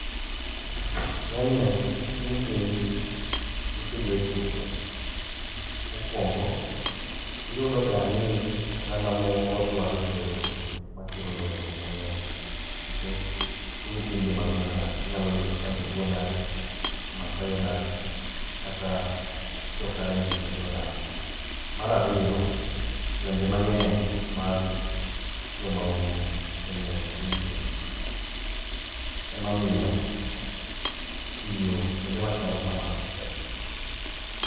Ng'enyne tung' piny nitie gi weche mathoth. Mokwongo, iyudoga ni oganda moko yware gi jowetegi makelo lwenje mang'eny nikech tung' piny ji mang'eny odake inyalo yudo ka joluo odake, maasai odake kata jo kalenjin bende odake. Mar ariyo, lwenje mang'eny mag jo maundu be ng'eny e tung' piny, emamiyo tiyo kuonde machalo kamano tek.